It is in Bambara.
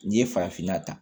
N'i ye farafinna ta